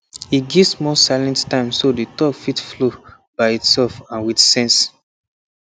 he give small silent time so the talk fit flow by itself and with sense